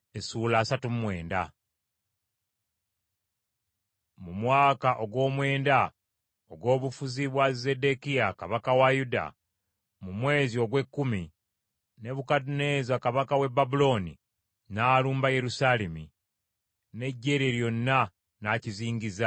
Mu mwaka ogwomwenda ogw’obufuzi kwa Zeddekiya kabaka wa Yuda, mu mwezi ogw’ekkumi, Nebukadduneeza kabaka w’e Babulooni, n’alumba Yerusaalemi, n’eggye lye lyonna, n’akizingiza.